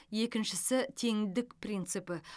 екіншісі теңдік принципі